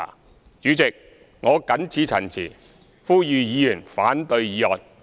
代理主席，我謹此陳辭，呼籲議員反對議案。